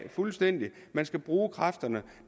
fuldstændig af man skal bruge kræfterne